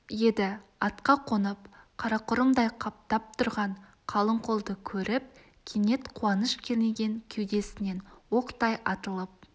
еді атқа қонып қарақұрымдай қаптап тұрған қалың қолды көріп кенет қуаныш кернеген кеудесінен оқтай атылып